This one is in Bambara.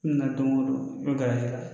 N nana don o don garisigɛ la